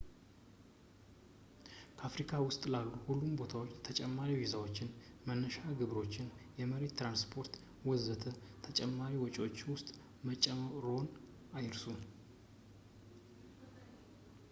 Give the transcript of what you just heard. ከአፍሪካ ውጭ ላሉት ሁሉም ቦታዎች ተጨማሪ ቪዛዎች ፣ የመነሻ ግብሮች ፣ የመሬት ትራንስፖርት ፣ ወዘተ ተጨማሪ ወጪዎች ውስጥ መጨመርዎን አይርሱ